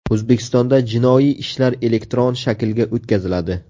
O‘zbekistonda jinoiy ishlar elektron shaklga o‘tkaziladi.